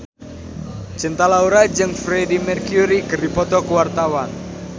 Cinta Laura jeung Freedie Mercury keur dipoto ku wartawan